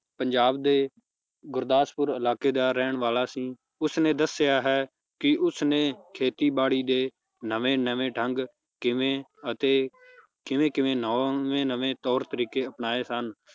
ਪੰਜਾਬ ਦੇ ਗੁਰਦਾਸਪੁਰ ਇਲਾਕੇ ਦਾ ਰਹਿਨ ਵਾਲਾ ਸੀ ਉਸਨੇ ਦੱਸਿਆ ਹੈ ਕਿ ਉਸਨੇ ਖੇਤੀ ਬਾੜੀ ਦੇ ਨਵੇਂ ਨਵੇਂ ਢੰਗ ਕਿਵੇਂ ਅਤੇ ਕਿਵੇਂ ਕਿਵੇਂ ਨਵੇਂ ਨਵੇਂ ਤੌਰ ਤਰੀਕੇ ਅਪਣਾਏ ਸਨ